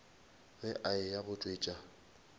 ge a eya go tšwetša